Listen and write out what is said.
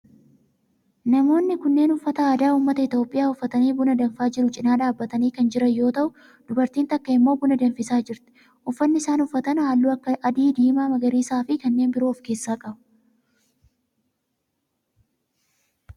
Namoonni kunneen uffata aadaa ummata Itiyoophiyaa uffatanii buna danfaa jiru cinaa dhaabbatanii kan jiran yoo ta'u dubartiin takka immoo buna danfisaa jirti. uffanni isaan uffatan halluu akka adii, diimaa, magariisaa fi kanneen biroo of keessaa qaba.